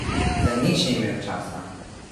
Za nič ni imel časa.